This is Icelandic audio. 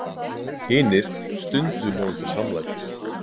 Hinir stundu honum til samlætis.